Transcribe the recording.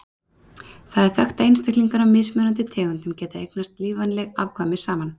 Það er þekkt að einstaklingar af mismunandi tegundum geta eignast lífvænleg afkvæmi saman.